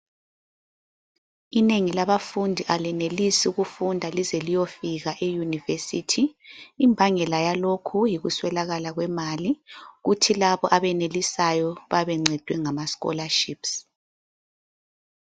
Inengi labafundi alenelisi ukufunda lize liyofika eyunivesithi. Imbangela yalokhu yikuswelakala kwemali kuthi labo abenelisayo bayabe bencedwe ngamascholarships.